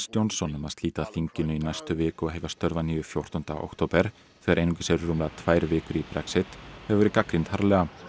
Johnson um að slíta þinginu í næstu viku og hefja störf að nýju fjórtánda október þegar einungis eru rúmlega tvær vikur í Brexit hefur verið gagnrýnd harðlega